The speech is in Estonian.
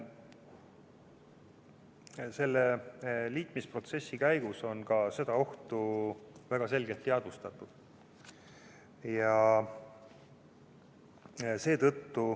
Selle liitumisprotsessi käigus on ka seda ohtu väga selgelt teadvustatud.